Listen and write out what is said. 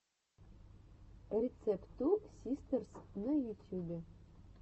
рецепт ту систерс на ютюбе